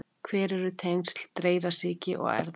Hver eru tengsl dreyrasýki og erfða?